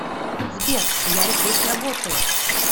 сбер я здесь работаю